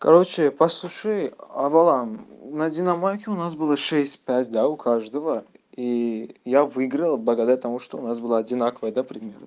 короче послушай овалам найди на мойке у нас было шесть пять да у каждого и я выиграл благодаря тому что у нас было одинаковое да примерно